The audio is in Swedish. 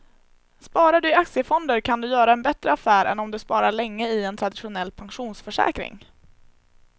Sparar du i aktiefonder kan du göra en bättre affär än om du sparar länge i en traditionell pensionsförsäkring.